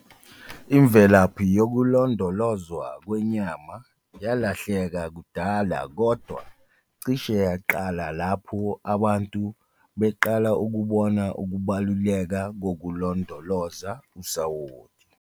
Imvelaphi yokulondolozwa kwenyama yalahleka kudala kodwa cishe yaqala lapho abantu beqala ukubona ukubaluleka kokulondoloza usawoti.